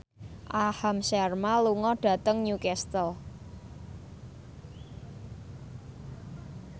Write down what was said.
Aham Sharma lunga dhateng Newcastle